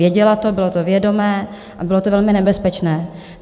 Věděla to, bylo to vědomé a bylo to velmi nebezpečné.